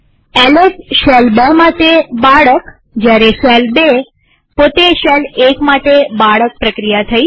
LS શેલ ૨ માટે બાળક જયારે શેલ ૨ પોતે શેલ ૧ માટે બાળક પ્રક્રિયા થઇ